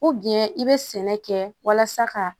i bɛ sɛnɛ kɛ walasa ka